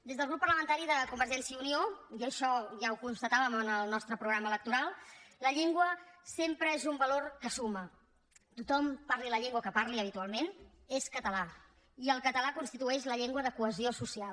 des del grup parlamentari de convergència i unió i això ja ho constatàvem en el nostre programa electoral la llengua sempre és un valor que suma tothom parli la llengua que parli habitualment és català i el català constitueix la llengua de cohesió social